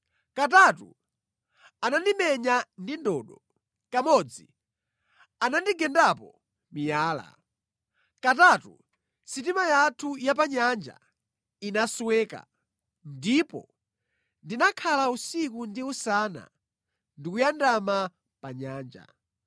Katatu anandimenya ndi ndodo. Kamodzi anandigendapo miyala. Katatu sitima yathu ya panyanja inasweka, ndipo ndinakhala usiku ndi usana ndi kuyandama pa nyanja.